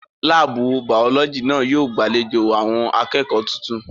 Láàbù Bàọ́lọ́jì náà yóò gbàlejò àwọn akẹ́kọ̀ọ́ tuntun